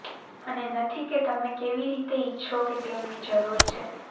અને નથી કે તમે કેવી રીતે ઇચ્છો કે તેમની જરૂર છે